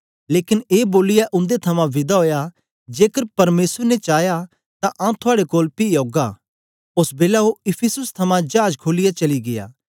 लेकन ए बोलियै उन्दे थमां विदा ओया जेकर परमेसर ने चाया तां आंऊँ थुआड़े कोल पी औगा ओस बेलै ओ इफिसुस थमां जाज खोलियै चली गीया